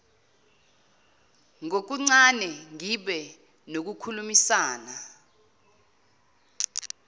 ngokuncane ngibe nokukhulumisana